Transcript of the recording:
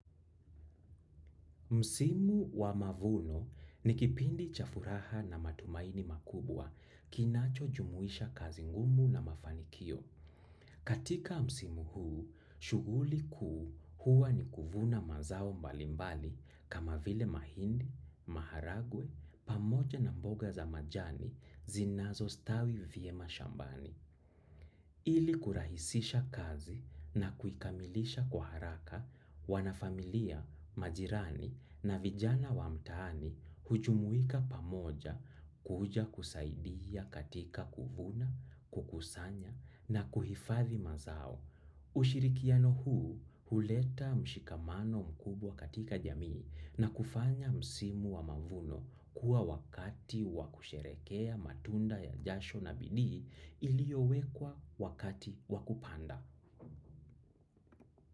Msimu wa mavuno ni kipindi cha furaha na matumaini makubwa kinacho jumuisha kazi ngumu na mafanikio. Katika msimu huu shughuli kuu huwa ni kuvuna mazao mbalimbali kama vile mahindi, maharagwe pamoja na mboga za majani zinazo stawi vyema shambani ili kurahisisha kazi na kuikamilisha kwa haraka, wanafamilia, majirani na vijana wa mtaani hujumuika pamoja kuja kusaidia katika kuvuna, kukusanya na kuhifadhi mazao. Ushirikiano huu huleta mshikamano mkubwa katika jamii na kufanya msimu wa mavuno kuwa wakati wa kusherehekea matunda ya jasho na bidii iliyowekwa wakati wa kupanda.